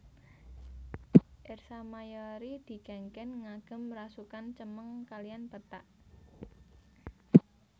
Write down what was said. Ersa Mayori dikengken ngagem rasukan cemeng kaliyan pethak